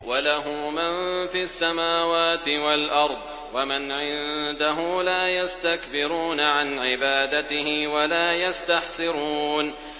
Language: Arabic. وَلَهُ مَن فِي السَّمَاوَاتِ وَالْأَرْضِ ۚ وَمَنْ عِندَهُ لَا يَسْتَكْبِرُونَ عَنْ عِبَادَتِهِ وَلَا يَسْتَحْسِرُونَ